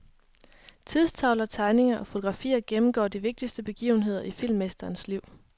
Tidstavler, tegninger og fotografier gennemgår de vigtigste begivenheder i filmmesterens liv.